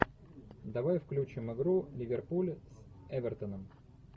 давай включим игру ливерпуль с эвертоном